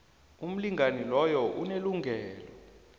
umlingani loyo unelungelo